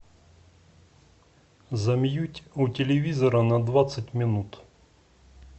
замьють у телевизора на двадцать минут